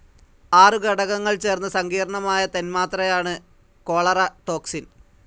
ആറു ഘടകങ്ങൾ ചേർന്ന സങ്കീർണമായ തന്മാത്രയാണ്കോ ളറ ടോക്സിൻ..